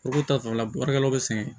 U k'u ta fanfɛla baarakɛlaw bɛ sɛgɛn